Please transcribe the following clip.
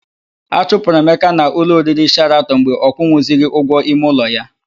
A chụpụrụ Emeka na ụlọ oriri Sheratọn mgbe ọ kwụnwuzighi ụgwọ ime ụlọ ya.